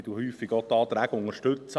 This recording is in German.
Ich unterstütze häufig auch die Anträge.